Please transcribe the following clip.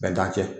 Bɛn t'an cɛ